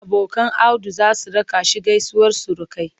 Abokan Audu za su raka shi gaisuwar surukai.